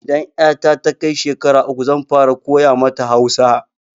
Idan 'yata ta kai shekara uku zan fara koya mata Hausa.